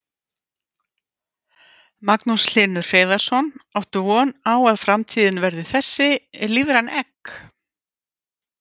Magnús Hlynur Hreiðarsson: Áttu von á að framtíðin verði þessi, lífræn egg?